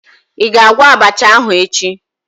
Ị ga-agwọ abacha ahụ echi?